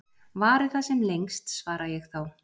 Vari það sem lengst, svara ég þá.